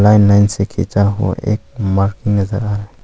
line line से खींचा हुआ एक मार्किंग नजर आ--